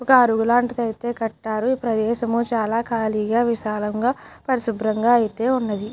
ఒక అడివి లాంటిదైతే కట్టాలి ప్రదేశము చాల కాలిగా విశాలంగా పరిశుబ్రాంగా అయితే ఉన్నదీ.